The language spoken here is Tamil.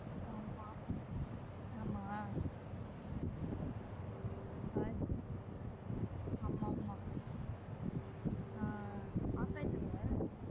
ஆமா ஆமா ஆமா ஆமா ஆஹ் operater ல